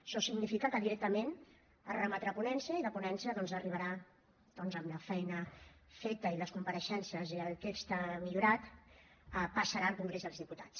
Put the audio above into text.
això significa que directament es remetrà a ponència i de ponència doncs arribarà amb la feina feta i les compareixences i el text millorat passarà al congrés dels diputats